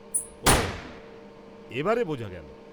ও, এবারে বোঝা গেল।